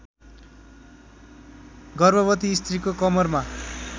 गर्भवती स्त्रीको कमरमा